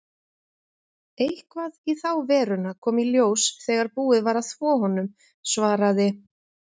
Eitthvað í þá veruna kom í ljós þegar búið var að þvo honum, svaraði